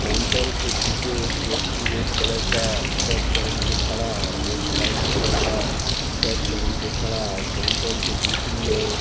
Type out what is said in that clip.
counter के पीछे एक व्यक्ति रेड कलर का शर्ट पहन के खड़ा है एक व्हाईट कलर का शर्ट पहन के खड़ा है काउंटर के दूसरी ओर--